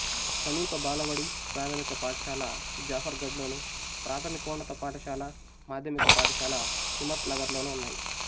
సమీప బాలబడి ప్రాథమిక పాఠశాల జాఫర్గఢ్లోను ప్రాథమికోన్నత పాఠశాల మాధ్యమిక పాఠశాల హిమ్మత్ నగర్లోనూ ఉన్నాయి